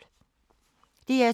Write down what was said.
DR2